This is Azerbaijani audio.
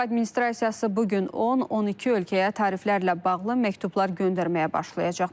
Tramp administrasiyası bu gün 10-12 ölkəyə tariflərlə bağlı məktublar göndərməyə başlayacaq.